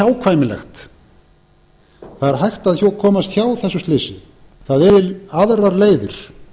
óhjákvæmilegt það er hægt að komast hjá þessu slysi það eru aðrar leiðir